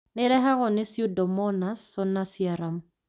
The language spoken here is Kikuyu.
Nĩirehagwo nĩ Pseudomonas solanacearum